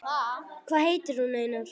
Hvað heitir hún, Einar?